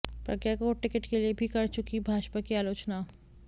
प्रज्ञा को टिकट के लिए भी कर चुकीं भाजपा की आलोचना